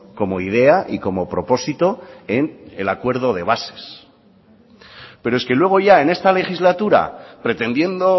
como idea y como propósito en el acuerdo de bases pero es que luego ya en esta legislatura pretendiendo